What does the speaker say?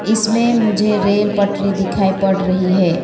इसमें मुझे रेल पटरी दिखाई पड़ रही है।